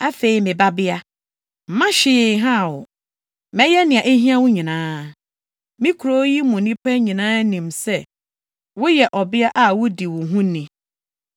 Afei, me babea, mma hwee nhaw wo. Mɛyɛ nea ehia wo nyinaa. Me kurow yi mu nnipa nyinaa nim sɛ woyɛ ɔbea a wudi wo ho ni.